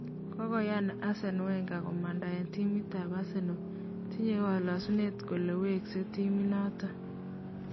Kokoyan Arsene Wenger komanda eng timitap Arsenal. Tinye kalasunet ngoro wengereng' timitnotok